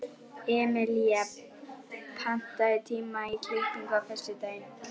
Emelía, pantaðu tíma í klippingu á föstudaginn.